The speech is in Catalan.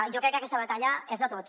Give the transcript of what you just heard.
jo crec que aquesta batalla és de tots